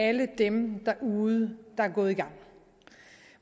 alle dem derude der er gået i gang